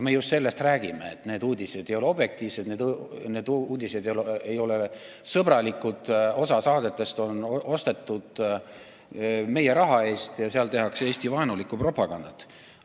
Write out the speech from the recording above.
Me just sellest räägimegi, et need uudised ei ole objektiivsed ega sõbralikud, et osa saadetest on ostetud meie raha eest ja seal tehakse Eesti-vaenulikku propagandat.